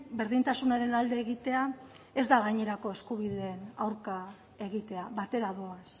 berdintasunaren alde egitea ez da gainerako eskubideen aurka egitea batera doaz